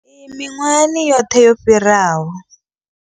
Iyi miṅwahani yoṱhe yo fhiraho.